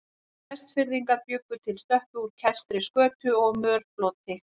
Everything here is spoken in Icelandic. Vestfirðingar bjuggu til stöppu úr kæstri skötu og mörfloti.